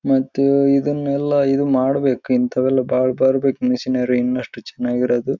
ಮತ್ತು ಇದನ್ನೆಲ್ಲ ಇದು ಮಾಡಬೇಕು ಇಂಥವೆಲ್ಲ ಬಾಳ ಬರಬೇಕು ಮಷಿನೇರಿ ಇನ್ನಷ್ಟು ಚನಾಗಿರೋದು.